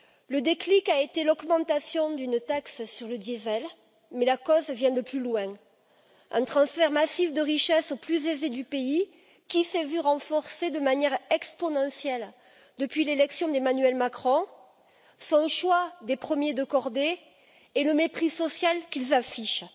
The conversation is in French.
Le déclic a été l'augmentation d'une taxe sur le diesel, mais la cause vient de plus loin un transfert massif de richesse aux plus aisés du pays, qui s'est vu renforcé de manière exponentielle depuis l'élection d'Emmanuel Macron, son choix des premiers de cordée et le mépris social qu'ils affichent.